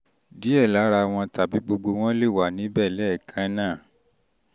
díẹ̀ lára wọn tàbí gbogbo wọn lè wà níbẹ̀ lẹ́ẹ̀kan náà